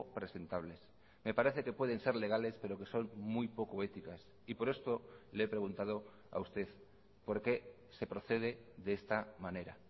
presentables me parece que pueden ser legales pero que son muy poco éticas y por esto le he preguntado a usted por qué se procede de esta manera